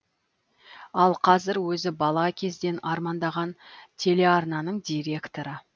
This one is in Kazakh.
ал қазір өзі бала кезден армандаған телеарнаның директоры